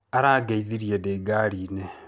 Arangeithirie ndĩ ngari-inĩ.